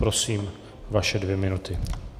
Prosím, vaše dvě minuty.